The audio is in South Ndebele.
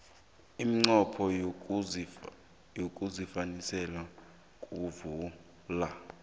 umnqopho wesikhwamesi kuvula